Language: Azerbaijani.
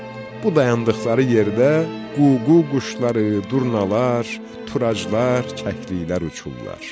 bu dayandıqları yerdə ququ quşları, durnalar, turaclar, kəkliklər uçurdular.